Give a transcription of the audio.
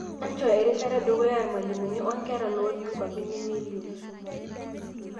Enchoo eshirata edukuya irmalimuni onkera looti nkwapi nemelio.